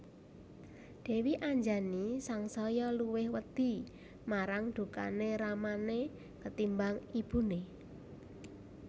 Dèwi Anjani sangsaya luwih wedi marang dukané ramané ketimbang ibuné